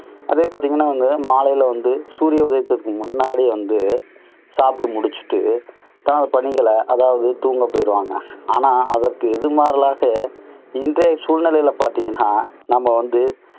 அதே பாத்தீங்கன்னா அவங்க மாலையில வந்து சூரிய உதயத்துக்கு முன்னாடியே அவங்க சாப்பிட்டு முடிச்சிட்டு பணிகள அதாவது தூங்கப் போயிருவாங்க. ஆனா அதுக்கு எதிர்மாறாக இன்றைய சூழ்நிலையில பார்த்தீங்கன்னா, நாம வந்து